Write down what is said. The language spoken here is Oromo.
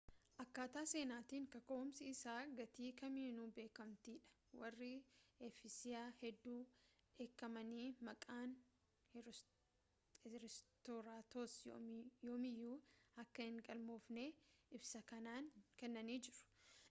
akkaataa seenaatiin kaka’umsi isaa gatii kamiinuu beekamtii dha. warri efesiyaa hedduu dheekkamanii, maqaan herostraatos yoomiyyuu akka hin galmoofne ibsa kennanii jiru